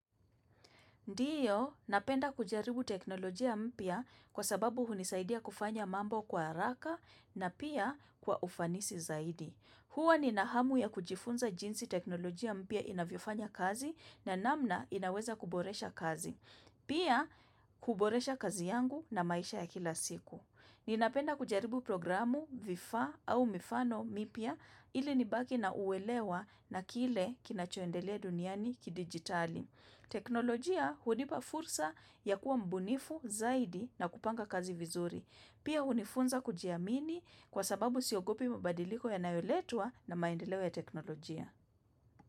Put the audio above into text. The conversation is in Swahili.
Ndiyo, napenda kujaribu teknolojia mpya kwa sababu hunisaidia kufanya mambo kwa haraka na pia kwa ufanisi zaidi. Huwa ni nahamu ya kujifunza jinsi teknolojia mpya inavyofanya kazi na namna inaweza kuboresha kazi. Pia, kuboresha kazi yangu na maisha ya kila siku. Ninapenda kujaribu programu vifaa au mifano mipya ili nibaki na uwelewa na kile kinacho endelea duniani ki digitali. Teknolojia hunipa fursa ya kuwa mbunifu zaidi na kupanga kazi vizuri Pia unifunza kujiamini kwa sababu siogopi mabadiliko yanayo letwa na maendeleo ya teknolojia.